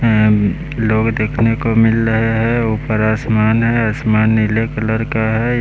उम्म लोग देखने को मिल रहे है ऊपर आसमान है आसमान नीले कलर का है।